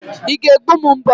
Ị ga-egbu m mbọ?